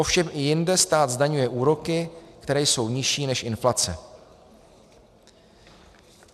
Ovšem i jinde stát zdaňuje úroky, které jsou nižší než inflace.